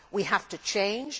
We have to change